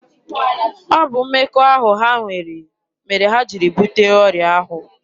Ọ bụ mmekọahụ ha nwere mere ha jiri bute ọrịa ahụ.